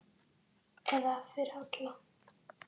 Eða fyrir alla.